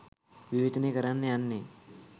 විවේචනය කරන්න යන්නෙ